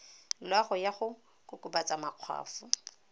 loago ya go kokobatsa makgwafo